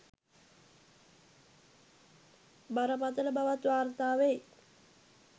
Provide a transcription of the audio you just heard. බරපතළ බවත් වාර්තා වෙයි.